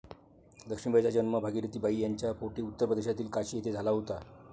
लक्ष्मीबाईंचा जन्म भागिरथी बाई यांच्या पोटी उत्तर प्रदेशातील काशी येथे झाला होता.